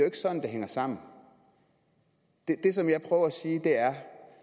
ikke sådan det hænger sammen det som jeg prøver at sige er